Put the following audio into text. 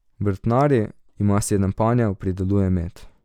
Vrtnari, ima sedem panjev, prideluje med.